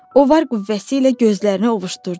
O var qüvvəsi ilə gözlərini ovuşdurdu.